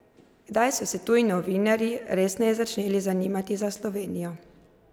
Kdaj so se tuji novinarji resneje začeli zanimati za Slovenijo?